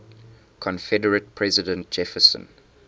confederate president jefferson